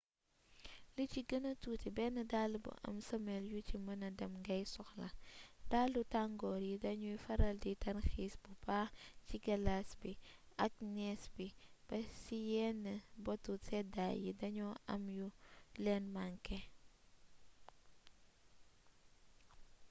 li ci gëna tuuti benn dàll bu am sëmel yu ci mëna dem ngay soxla dalu tangoor yi dañuy faral di tarxiis bu baax ci galaas bi ak nees bi ba ci yeen botu séddaay yi dañu am yu leen manké